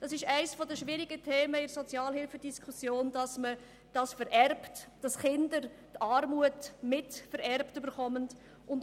Eines der schwierigen Themen in der Sozialhilfediskussion ist es, dass Kindern aus Familien, die Sozialhilfe beziehen, die Armut vererbt wird.